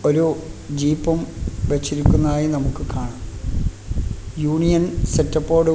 ഒരു ജീപ്പും വെച്ചിരിക്കുന്നതായി നമുക്ക് കാണാം യൂണിയൻ സെറ്റപ്പോടുകു --